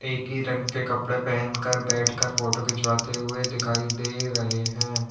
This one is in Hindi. एक ही रंग के कपड़े पहनकर बैठकर फोटो खिंचवाते हुए दिखाई दे रहे हैं।